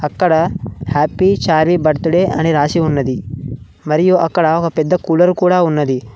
అక్కడ happy Charvi birthday అని రాసి ఉన్నది మరియు అక్కడ ఒక పెద్ద కూలర్ కూడా ఉన్నది.